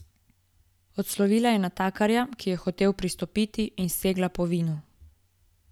Odslovila je natakarja, ki je hotel pristopiti, in segla po vinu.